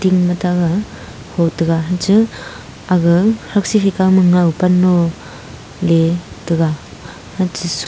ema taga hotega ja aga haksi hekawma ngowpan no letega hache